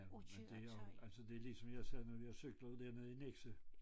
Ja men det jo altså det ligesom jeg siger når jeg cykler ud dernede i Nexø